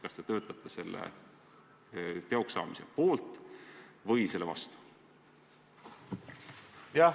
Kas te töötate selle teoks saamise poolt või selle vastu?